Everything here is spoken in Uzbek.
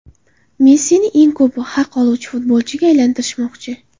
Messini eng ko‘p haq oluvchi futbolchiga aylantirishmoqchi.